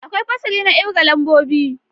Akwai fasali na kirga lambobi.